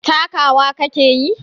Takawa ka ke yi?